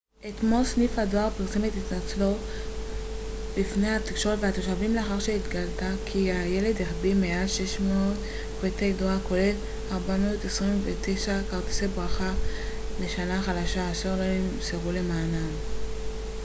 אתמול סניף הדואר פרסם את התנצלותו בפני התקשורת והתושבים לאחר שהתגלה כי הילד החביא מעל 600 פריטי דואר כולל 429 כרטיסי ברכה לשנה החדשה אשר לא נמסרו למענם